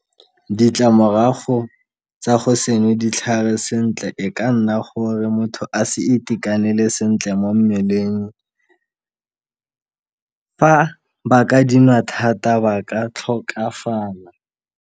Ditlamorago tsa go se nwe ditlhare sentle e ka nna gore motho a se itekanele sentle mo mmeleng fa ba ka dinwa thata ba ka tlhokafala.